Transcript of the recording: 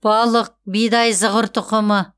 балық бидай зығыр тұқымы